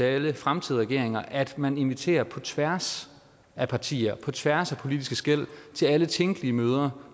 alle fremtidige regeringer at man inviterer på tværs af partier på tværs af politiske skel til alle tænkelige møder